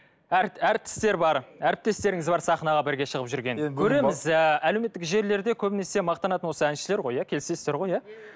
әртістер бар әріптестеріңіз бар сахнаға бірге шығып жүрген көреміз ііі әлеуметтік желілерде көбінесе мақтанатын осы әншілер ғой иә келісесіздер ғой иә